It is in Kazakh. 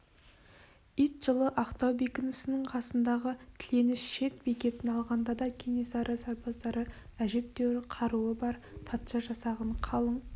ит жылы ақтау бекінісінің қасындағы тіленіш шет бекетін алғанда да кенесары сарбаздары әжептәуір қаруы бар патша жасағын қалың